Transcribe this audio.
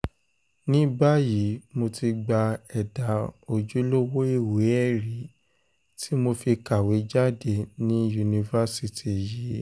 ní báyìí mo ti gba ẹ̀dà ojúlówó ìwé-ẹ̀rí tí mo fi kàwé jáde ní yunifásitì yìí